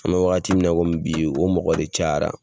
An bɛ wagati min na komi bi, o mɔgɔ de caya